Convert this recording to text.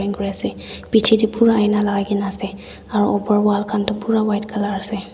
kuri asae bijae dae pura aina lagai kina asae aro opor wall khan toh pura white colour asae.